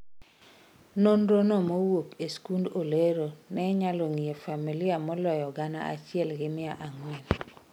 nonro no mowuok e sikund Olero ne onyalo ng'iyo familia maloyo gana achiel gi mia ang'wen